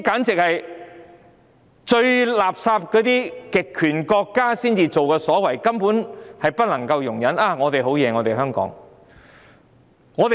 這是最垃圾的極權國家的行為，完全不能容忍，但居然在香港發生。